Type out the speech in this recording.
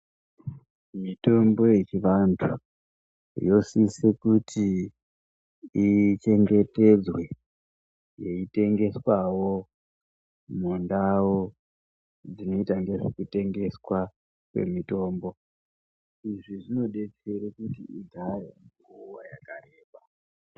Mitombo yechivantu yosise kuti ichengetedzwe yeitengeswawo mundau dzinoitenderwa kutengeswa kwemitombo izvi zvinodetsera kuti igare nguwa yakareba.